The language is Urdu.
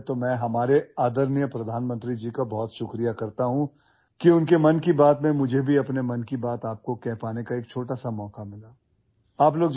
سب سے پہلے، میں اپنے قابل احترام وزیر اعظم کا شکریہ ادا کرنا چاہوں گا کہ انہوں نے مجھے اپنے 'من کی بات' میں آپ کے ساتھ اپنے خیالات ساجھا کرنے کا ایک چھوٹا سا موقع فراہم کیا